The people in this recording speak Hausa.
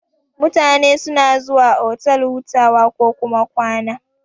Mutane suna zuwa otal hutawa kokuma kwana.